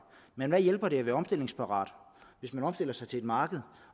men hvad hjælper det at være omstillingsparat hvis man omstiller sig til et marked